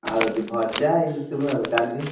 ଆଉ ହଉଛି ଭଜା ଏଇ ସବୁ ଆଉ ଡାଲି।